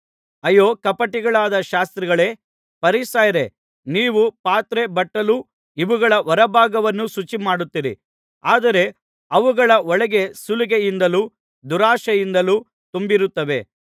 ಅಯ್ಯೋ ಕಪಟಿಗಳಾದ ಶಾಸ್ತ್ರಿಗಳೇ ಫರಿಸಾಯರೇ ನೀವು ಪಾತ್ರೆ ಬಟ್ಟಲು ಇವುಗಳ ಹೊರಭಾಗವನ್ನು ಶುಚಿಮಾಡುತ್ತೀರಿ ಆದರೆ ಅವುಗಳ ಒಳಗೆ ಸುಲಿಗೆಯಿಂದಲೂ ದುರಾಶೆಯಿಂದಲೂ ತುಂಬಿರುತ್ತವೆ